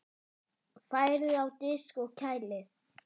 Færið á disk og kælið.